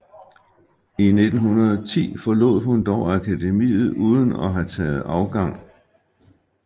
I 1910 forlod hun dog akademiet uden at have taget afgang